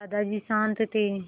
दादाजी शान्त थे